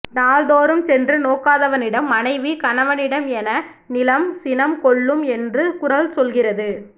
நாள்தோறும் சென்று நோக்காதவனிடம் மனைவி கணவனிடம் என நிலம் சினம் கொள்ளும் என்று குறள் சொல்கிறது